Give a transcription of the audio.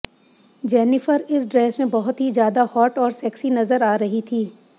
Jennifer इस dress में बहुत ही ज्यादा हॉट और सेक्सी नजर आ रही थी